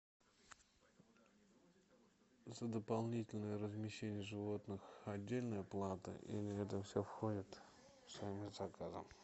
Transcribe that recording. за дополнительное размещение животных отдельная плата или это все входит в стоимость заказа